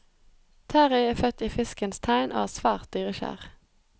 Terrie er født i fiskens tegn og er svært dyrekjær.